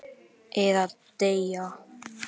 Eða deyja.